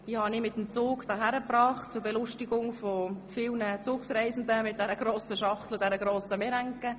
Diese habe ich im Zug hierher mitgebracht – zur Belustigung von vielen Zugreisenden ob der grossen Schachtel mit der grossen Meringue.